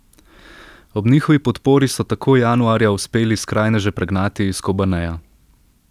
Ob njihovi podpori so tako januarja uspeli skrajneže pregnati iz Kobaneja.